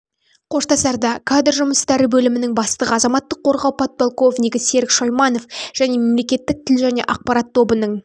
қоштасарда кадр жұмыстары бөлімінің бастығы азаматтық қорғау подполковнигі серік шойманов және мемлекеттік тіл және ақпарат тобының